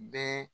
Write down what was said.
Bɛɛ